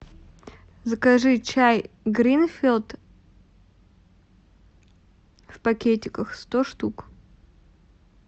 закажи чай гринфилд в пакетиках сто штук